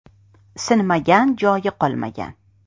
Sinmagan joyi qolmagan.